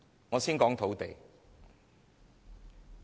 我先談談土地。